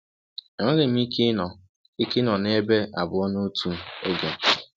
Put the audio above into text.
Enweghị m ike ịnọ ike ịnọ nebe abụọ a notu oge.